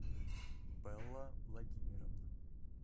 белла владимировна